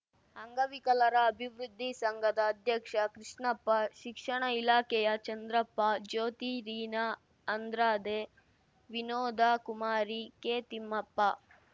ಅಂಗವಿಕಲರ ಅಭಿವೃದ್ಧಿ ಸಂಘದ ಅಧ್ಯಕ್ಷ ಕೃಷ್ಣಪ್ಪ ಶಿಕ್ಷಣ ಇಲಾಖೆಯ ಚಂದ್ರಪ್ಪ ಜ್ಯೋತಿ ರೀನಾ ಅಂದ್ರಾದೆ ವಿನೋದಾ ಕುಮಾರಿ ಕೆತಿಮ್ಮಪ್ಪ